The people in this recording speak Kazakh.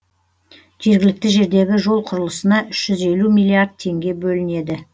жергілікті жердегі жол құрылысына үш жүз елу миллиард теңге бөлінеді